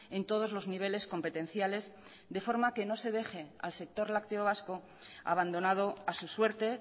en todos los niveles competenciales de forma que no se deje al sector lácteo vasco abandonado a su suerte